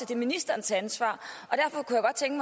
det er ministerens ansvar